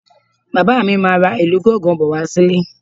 Bàbá mi máa ra ìlù gángan bọ̀ wá sílé